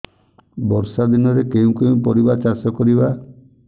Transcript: ବର୍ଷା ଦିନରେ କେଉଁ କେଉଁ ପରିବା ଚାଷ କରିବା